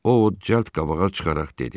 O ov çəld qabağa çıxaraq dedi.